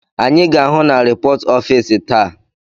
Anyị ga-ahụ na ripọt ọfịs taa.